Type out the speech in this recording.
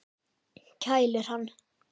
Kælir hann.